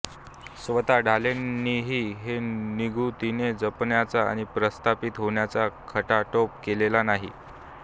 स्वतः ढालेंनीही हे निगुतीने जपण्याचा आणि प्रस्थापित होण्याचा खटाटोप केलेला नाही